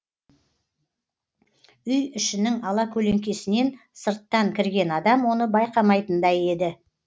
үй ішінің алакөлеңкесінен сырттан кірген адам оны байқамайтындай еді